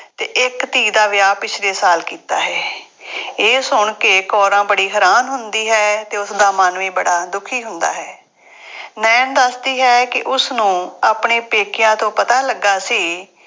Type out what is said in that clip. ਅਤੇ ਇੱਕ ਧੀ ਦਾ ਵਿਆਹ ਪਿਛਲੇ ਸਾਲ ਕੀਤਾ ਹੈ। ਇਹ ਸੁਣ ਕੇ ਕੌਰਾਂ ਬੜੀ ਹੈਰਾਨ ਹੁੰਦੀ ਹੈ ਅਤੇ ਉਸਦਾ ਮਨ ਵੀ ਬੜਾ ਦੁਖੀ ਹੁੰਦਾ ਹੈ। ਨਾਇਣ ਦੱਸਦੀ ਹੈ ਕਿ ਉਸਨੂੰ ਆਪਣੇ ਪੇਕਿਆਂ ਤੋਂ ਪਤਾ ਲੱਗਾ ਸੀ